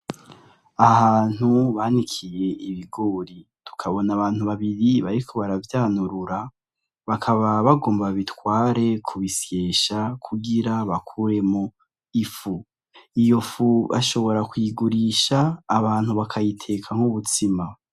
Ahantu banikiye ibigori tukabona abantu babibrii bariko baravyanurura bakaba bagomba babitware kubisyesha kugira bakuremwo ifu. Iyo fu bashobora kuyigurisha abantu bakayitekamwo umutsima.